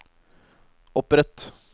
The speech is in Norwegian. opprett